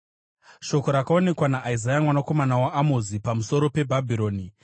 Shoko rakaonekwa naIsaya mwanakomana waAmozi pamusoro peBhabhironi: